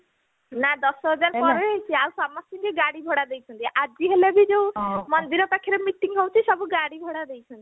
ନା ଦଶହଜାର ପରେ ହେଇଛି ଆଉ ସମସ୍ତିଙ୍କୁ ଗାଡି ଭଡା ଦେଇଛନ୍ତି ଆଜି ହେଲେ ବି ଯୋଉ ମନ୍ଦିର ପାଖରେ meeting ହଉଛି ସବୁ ଗାଡି ଘୋଡା ଦେଇଛନ୍ତି